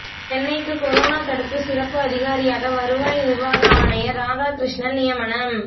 சென்னைக்கு கொரோனா தடுப்பு சிறப்பு அதிகாரியாக வருவாய் நிர்வாக ஆணையர் ராதாகிருஷ்ணன் நியமனம்